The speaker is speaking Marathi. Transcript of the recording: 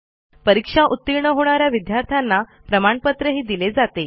जे विद्यार्थी ऑनलाईन परीक्षा उतीर्ण होतात त्यांना प्रमाणपत्रही दिले जाते